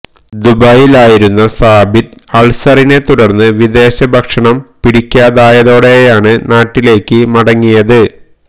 ദുബൈയില് ആയിരുന്ന സാബിത്ത് അള്സറിനെ തുടര്ന്ന് വിദേശ ഭക്ഷണം പിടിക്കാതായതോടെയാണ് നാട്ടിലേക്ക് മടങ്ങിയത്